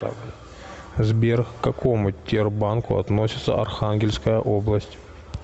сбер к какому тербанку относится архангельская область